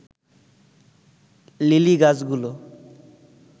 lily গাছগুলো